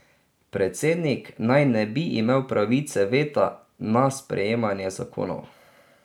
Predsednik naj ne bi imel pravice veta na sprejemanje zakonov.